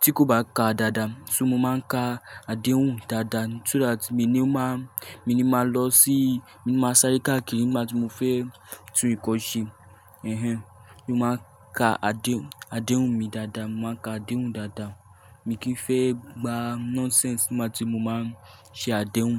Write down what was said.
tí kò bá ka dáadáa. So mo máa ń ka àdéhùn dáadáa so that èmi ni ó máa, èmi ni máa lọ sí, èmi máa sáré káàkiri nígbà tí mo fẹ́ tu ìkọ́ṣẹ́. Ẹ̀hẹn, mo máa ń ka àdé, àdéhùn mi dáadáa, mo máa ń ka àdéhùn dáadáa. Èmi kì í fẹ́ gba nonsense nígbà tí mo máa ń ṣe àdéhùn.